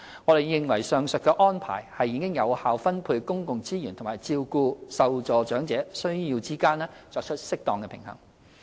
我們認為上述安排已在有效分配公共資源和照顧受助長者需要之間作出適當平衡。